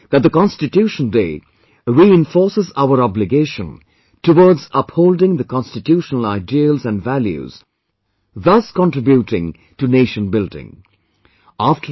I pray that the 'Constitution Day' reinforces our obligation towards upholding the constitutional ideals and values thus contributing to nation building